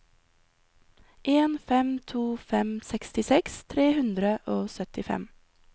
en fem to fem sekstiseks tre hundre og syttifem